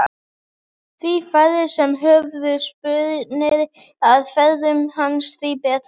Því færri sem höfðu spurnir af ferðum hans því betra.